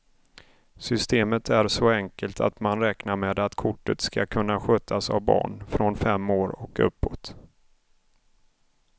Systemet är så enkelt att man räknar med att kortet ska kunna skötas av barn från fem år och uppåt.